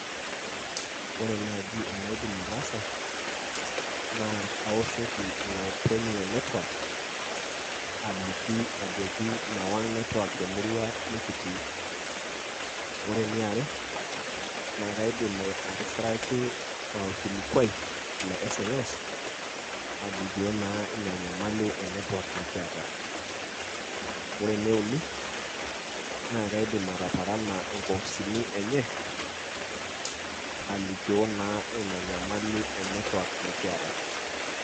Ore naji enaidim ataasa, na kawoshoki ilopeny le netwak aliki ajoki mewang' netwak temurua nikitii. Ore eniare, na kaidim atisiraki orkilikwai le sms alikio naa ina nyamali e netwak nikiata. Ore eneuni, na kaidim ataparana inkopisini enye alikioo na ina nyamali e netwak nikiata.